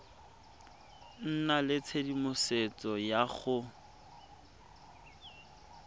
nna le tshedimosetso ya go